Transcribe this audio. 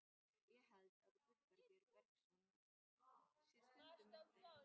Ég held að Guðbergur Bergsson sé stundum með þeim.